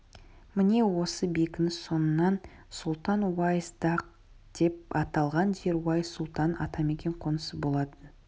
міне осы бекініс соңынан сұлтан-уайс-даг деп аталған жер уайс сұлтанның атамекен қонысы болатын